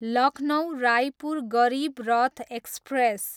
Lucknow, Raipur Garib Rath express